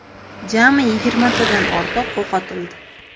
Jami yigirmatadan ortiq o‘q otildi.